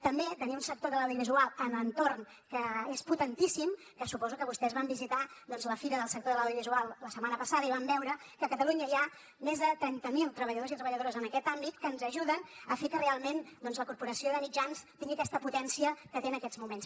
també tenir un sector de l’audiovisual en l’entorn que és potentíssim que suposo que vostès van visitar doncs la fira del sector de l’audiovisual la setmana passada i van veure que a catalunya hi ha més de trenta mil treballadors i treballadores en aquest àmbit que ens ajuden a fer que realment la corporació de mitjans tingui aquesta potència que té en aquests moments